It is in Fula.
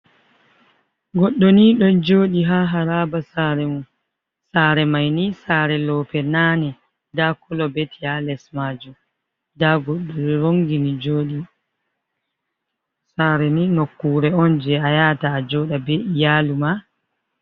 Goɗo ni ɗo joɗi ha haraba sare mum, sare mai ni sare loope nane nda kolobeti ha les majum nda goɗɗoni rongini joɗi sare ni nokkure on je a yata a joɗa ɓe iyalu ma.